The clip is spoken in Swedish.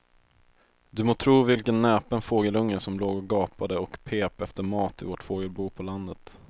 Du må tro vilken näpen fågelunge som låg och gapade och pep efter mat i vårt fågelbo på landet.